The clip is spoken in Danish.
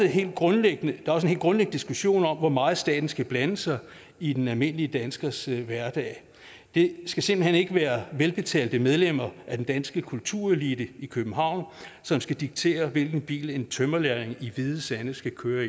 helt grundlæggende diskussion om hvor meget staten skal blande sig i den almindelige danskers hverdag det skal simpelt hen ikke være velbetalte medlemmer af den danske kulturelite i københavn som skal diktere hvilken bil en tømrerlærling i hvide sande skal køre